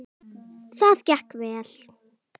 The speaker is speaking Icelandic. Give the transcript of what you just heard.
Það gekk vel.